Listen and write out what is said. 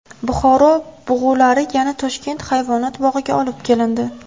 Buxoro bug‘ulari yana Toshkent hayvonot bog‘iga olib kelindi.